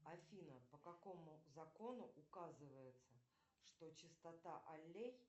афина по какому закону указывается что частота аллей